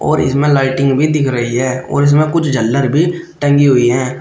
इसमें लाइटिंग भी दिख रही है और इसमें कुछ झल्लर भी टंगी हुई हैं।